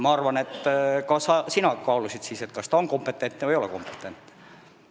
Ma arvan, et ka sina kaalusid siis, kas nad on või ei ole kompetentsed.